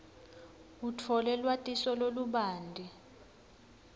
utfole lwatiso lolubanti